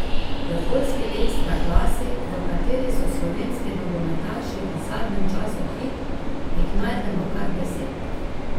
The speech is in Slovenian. V poljski ekstra klasi, v kateri so slovenski nogometaši v zadnjem času hit, jih najdemo kar deset.